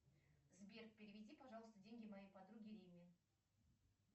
сбер переведи пожалуйста деньги моей подруге римме